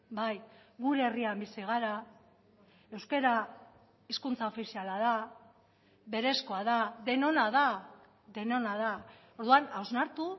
bai gure herrian bizi gara euskara hizkuntza ofiziala da berezkoa da denona da denona da orduan hausnartu